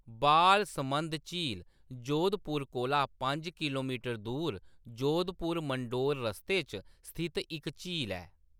बालसमंद झील जोधपुर कोला पंज किल्लोमीटर दूर जोधपुर-मंडोर रस्ते पर स्थित इक झील ऐ।